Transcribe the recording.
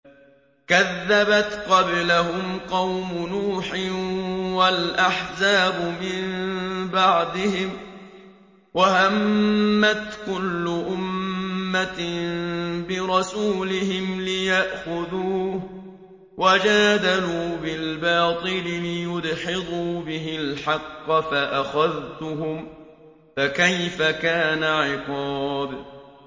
كَذَّبَتْ قَبْلَهُمْ قَوْمُ نُوحٍ وَالْأَحْزَابُ مِن بَعْدِهِمْ ۖ وَهَمَّتْ كُلُّ أُمَّةٍ بِرَسُولِهِمْ لِيَأْخُذُوهُ ۖ وَجَادَلُوا بِالْبَاطِلِ لِيُدْحِضُوا بِهِ الْحَقَّ فَأَخَذْتُهُمْ ۖ فَكَيْفَ كَانَ عِقَابِ